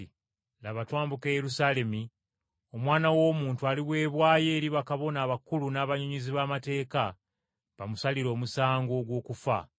“Laba twambuka e Yerusaalemi, Omwana w’Omuntu aliweebwayo eri bakabona abakulu n’abannyonnyozi b’amateeka, bamusalire omusango ogw’okufa.